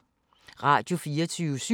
Radio24syv